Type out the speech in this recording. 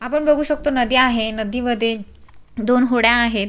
आपण बघू शकतो नदी आहे नदी मध्ये दोन होड्या आहेत.